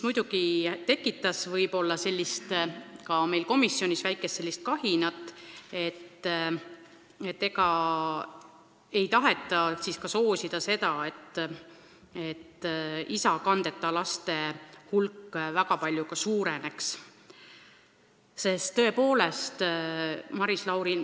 Muidugi see tekitas meil komisjonis sellist väikest kahinat – ega ei taheta siis soosida seda, et isakandeta laste hulk väga palju ka suureneb?